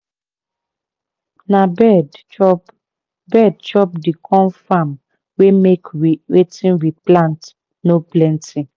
na bird chop bird chop di corn farm wey make wetin we plant no plenty.